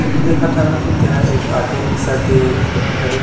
Photo देखथन तेहा एक ऑटो रिक्शा के फोटो हरे।